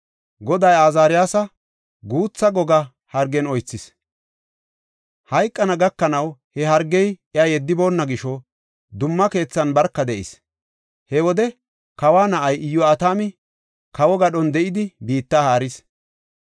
Goday Azaariyasa guutha goga hargen oythis; hayqana gakanaw he hargey iya yeddiboonna gisho, dumma keethan barka de7is. He wode kawa na7ay Iyo7atami kawo gadhon de7idi, biitta haaris.